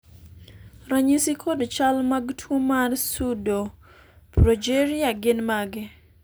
ranyisi kod chal mag tuo mar Pseudoprogeria gin mage?